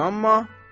İnanma.